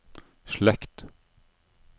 slekt